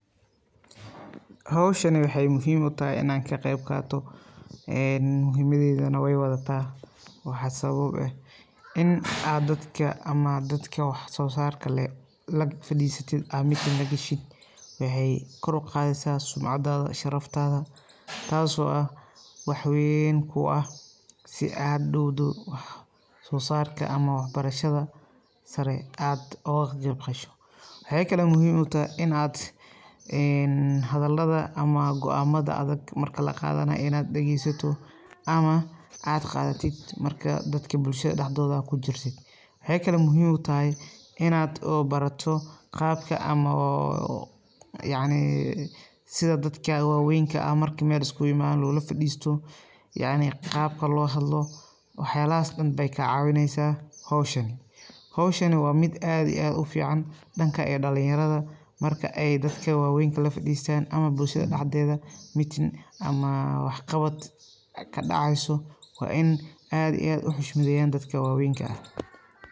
Howshan waxee muhiim utahay inaan ka qeyb qaato een muhiimadeydana waa wadata waxa sabab u eh in aad dadka ama dadka waxa soo saarka leh lafadhiisatid aad meeting lagashid waxee kor uqaadeysa sumcadaada, sharaftaada taaso ah wax weeyn ku u ah si aad hadhowdo wax soo saarka ama wax barashada sare aad uga qeyb gasho. Waxee kalo muhiim utahay in aad hadalada ama go'aanmada adag marka laqaadanayo inaad dhegeysato ama aad qaadatid marka dadka bulshada dhexdooda ku jirtid waxee kalo muhiim utahay inaad oo barato qaabka ama oo yacni sida dadka waaweynka ah marka meel iskugu imaado loola fadhiisto yacni qaabka loo hadlo waxa yaalahas dhan bee kaa caawineysa howshan. Howshani waa mid aad iyo aad ufiican dhanka ee dhalinyarada marka ey dadka waaweynka lafadhiistan ama bulshada dhexdeeda meeting ama wax qabad kadhaceyso waa in aad iyo aad uxushmadeeyan dadka waaweynka ah.